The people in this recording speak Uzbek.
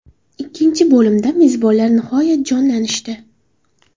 Ikkinchi bo‘limda, mezbonlar nihoyat jonlanishdi.